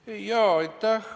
Aitäh!